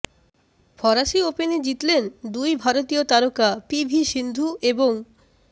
ফরাসি ওপেনে জিতলেন দুই ভারতীয় তারকা পি ভি সিন্ধু এবং